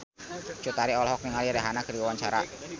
Cut Tari olohok ningali Rihanna keur diwawancara